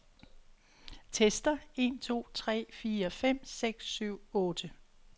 Tester en to tre fire fem seks syv otte.